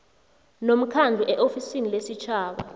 nomkhandlu eofisini lesitjhaba